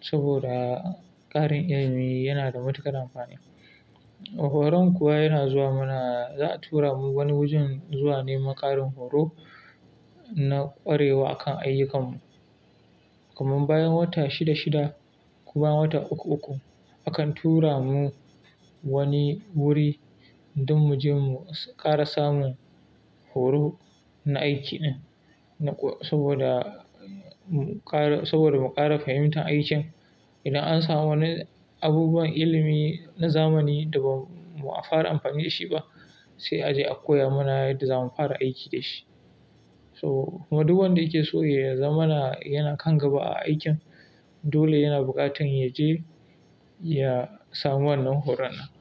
saboda ƙarin ilimi yana da matuƙar amfani. Horon kuwa yana zuwa, muna, za a tura mu wani wajen zuwa neman ƙarin horo na ƙwarewa a kan ayyukanmu. Kaman bayan wata shida-shida ko bayan wata uku-uku, akan tura mu wani wuri don mu je mu ƙara samun horo na aikin din saboda mu ƙara, saboda mu ƙara fahimtar aikin. Idan an samu wani abubuwan ilimi na zamani da ba'a fara amfani da shi ba, sai a je a koya mana yadda za mu fara aiki da shi. To, kuma duk wanda yake so ya zamana yana kan gaba a aikin, dole yana buƙatar ya je ya samu wannan horon nan.